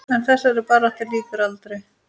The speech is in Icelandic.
En þessari baráttu lýkur aldrei.